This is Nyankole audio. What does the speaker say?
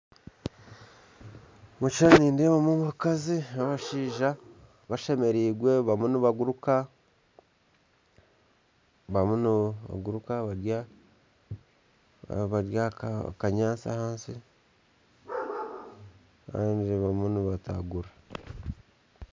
Omukishishani nindeebamu abashaija na abakazi bashemerirwe bariyo nibaguruka bari ahakanyatsi ahansi kandi nibatagurira.